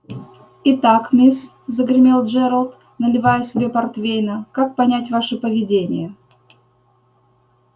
и так мисс загремел джералд наливая себе портвейна как понять ваше поведение